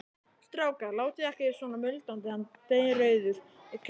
Strákar, látið ekki svona muldraði hann dreyrrauður í kinnum.